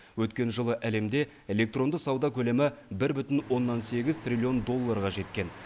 өткен жылы әлемде электронды сауда көлемі бір бүтін оннан сегіз триллион доллларға жеткен